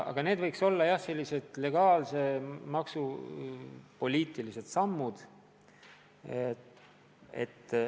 Aga need võiks olla legaalsed, maksupoliitilised sammud.